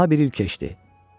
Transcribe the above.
Daha bir il keçdi.